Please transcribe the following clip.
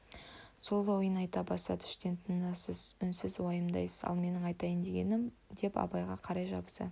сол ойын айта бастады іштен тынасыз үнсіз уайымдайсыз ал менің айтайын дегенім деп абайға қарай жабыса